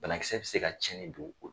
Banakisɛ bɛ se ka cɛnni don o